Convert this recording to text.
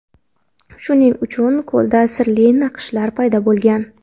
Shuning uchun ko‘lda sirli naqshlar paydo bo‘lgan.